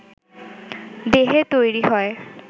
দেহে তৈরি হয়